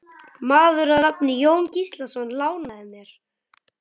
Maður að nafni Jón Gíslason lánaði mér.